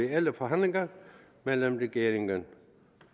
reelle forhandlinger mellem regeringen